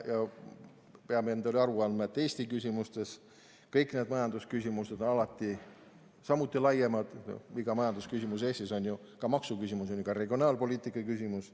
Me peame endale aru andma, et Eesti küsimustes kõik need majandusküsimused on alati samuti laiemad – iga majandusküsimus Eestis on ju ka maksuküsimus, samuti regionaalpoliitika küsimus.